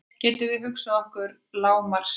Getum við hugsað okkur lágmarksstærð?